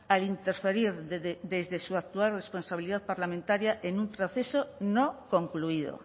al interferir desde su actual responsabilidad parlamentaria en un proceso no concluido